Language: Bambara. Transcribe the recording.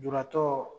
Lujuratɔ